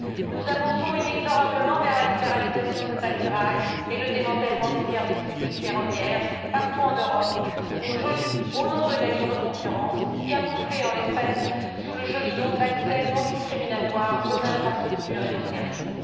Nous avançons inexorablement vers la libéralisation totale du rail et le démantèlement des services publics ferroviaires partout en Europe au nom de la libre concurrence, camouflée en l'espèce sous le joli nom d'accès non discriminatoire aux infrastructures et aux services.